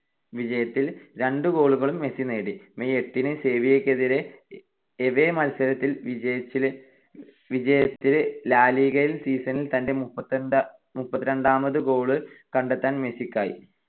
വിജയത്തിൽ രണ്ടു goal കളും മെസ്സി നേടി. May എട്ടിന് സെവിയ്യക്കെതിരെ എവേ മത്സരത്തിലെ വിജയത്തിൽ ലാ ലിഗയിൽ season ൽ തന്റെ മുപ്പത്തിരണ്ടാം goal കണ്ടെത്താൻ മെസ്സിക്കായി.